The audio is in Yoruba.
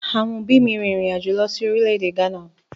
Àwọn òbí mi rìn irin àjò lọ sí orílè-èdè Ghana